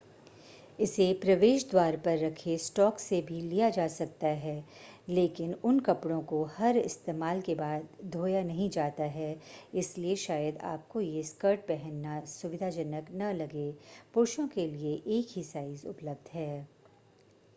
इसे प्रवेश द्वार पर रखे स्टॉक से भी लिया जा सकता है लेकिन उन कपड़ों को हर इस्तेमाल के बाद धोया नहीं जाता है इसलिए शायद आपको ये स्कर्ट पहनना सुविधाजनक न लगे पुरुषों के लिए एक ही साइज़ उपलब्ध है